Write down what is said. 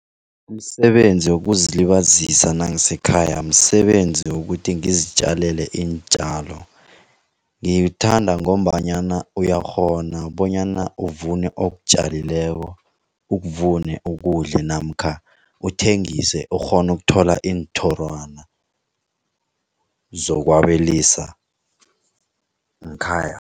Umsebenzi wokuzilibazisa nangisekhaya msebenzi wokuthi ngizitjalela iintjalo. Ngiwuthanda ngombanyana uyakghona bonyana uvune okutjalileko, ukuvune ukudle namkha uthengise ukghona ukuthola iinthorwana, zokwabelisa ngekhaya.